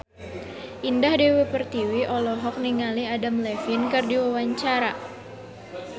Indah Dewi Pertiwi olohok ningali Adam Levine keur diwawancara